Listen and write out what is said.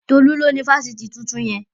Tolú ló ni ifásitì tuntun yẹn